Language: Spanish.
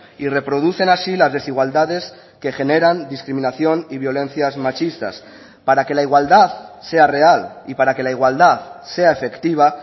y reproducen así las desigualdades que generan discriminación y violencias machistas para que la igualdad sea real y para que la igualdad sea efectiva